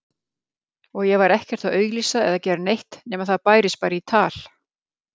Og ég var ekkert að auglýsa eða gera neitt nema það bærist bara í tal.